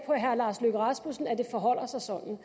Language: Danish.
herre lars løkke rasmussen at det forholder sig sådan